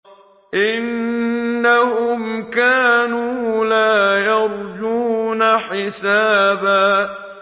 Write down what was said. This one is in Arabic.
إِنَّهُمْ كَانُوا لَا يَرْجُونَ حِسَابًا